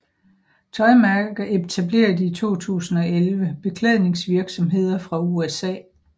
Tøjmærker Etableret i 2011 Beklædningsvirksomheder fra USA